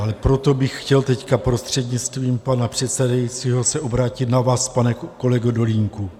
Ale proto bych chtěl teď, prostřednictvím pana předsedajícího, se obrátit na vás, pane kolego Dolínku.